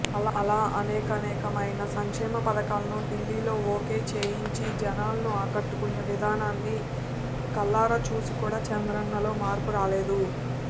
అలా అనేకానేకమైన సంక్షేమ పథకాలను ఢిల్లీలో ఓకే చేయించి జనాలను ఆకట్టుకునే విధానాన్ని కళ్లారచూసి కూడా చంద్రన్నలో మార్పురాలేదు